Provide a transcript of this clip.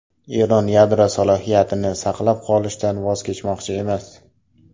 Eron yadro salohiyatini saqlab qolishdan voz kechmoqchi emas.